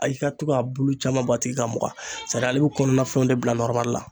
Ayi ka to ka bulu caman bɔ a tigi ka mugan sadi ale bi kɔnɔnana fɛnw de bila nɔrɔmali la